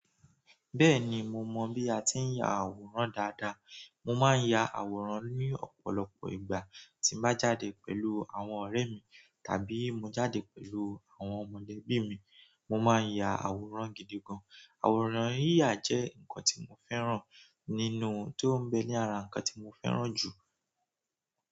Bẹ́ẹ̀ni mo mọ̀ bí a ti ń ya àwòrán dáadáa. Mo máa ń ya àwòrán ní ọ̀pọ̀lọpọ̀ ìgbà tí n bá jáde pẹ̀lú àwọn ọ̀rẹ́ mi tàbí mo jáde pẹ̀lú àwọn mọ̀lẹ́bí mi. Mo máa ń ya àwòrán gidi gan. Àwòrán yíyà jẹ́ nǹkan tí mo fẹ́ràn nínú tó ń bẹ ní ara ǹkan tí mo fẹ́ràn jù.